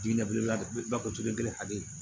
Diinɛbilako kelen hakɛ